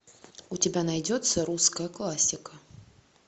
у тебя найдется русская классика